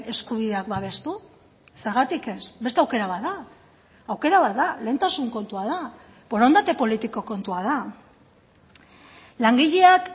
eskubideak babestu zergatik ez beste aukera bat da aukera bat da lehentasun kontua da borondate politiko kontua da langileak